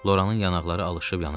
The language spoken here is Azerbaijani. Loranın yanaqları alışılıb yanırdı.